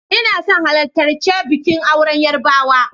Ina son halartarchi bikin auren Yarbawa.